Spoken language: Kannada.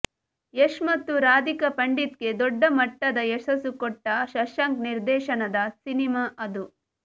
ಯಶ್ ಮತ್ತು ರಾಧಿಕಾ ಪಂಡಿತ್ಗೆ ದೊಡ್ಡ ಮಟ್ಟದ ಯಶಸ್ಸು ಕೊಟ್ಟ ಶಶಾಂಕ್ ನಿರ್ದೇಶನದ ಸಿನಿಮಾ ಅದು